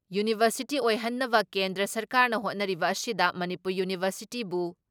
university ꯑꯣꯏꯍꯟꯅꯕ ꯀꯦꯟꯗ꯭ꯔ ꯁꯔꯀꯥꯔꯅ ꯍꯣꯠꯅꯔꯤꯕ ꯑꯁꯤꯗ ꯃꯅꯤꯄꯨꯔ ꯌꯨꯅꯤꯚꯔꯁꯤꯇꯤꯕꯨ